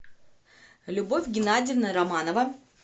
любовь геннадьевна романова